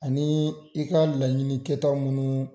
Ani i ka laɲini kɛ ta minnu